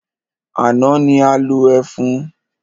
Àná ni a lo ẹfun.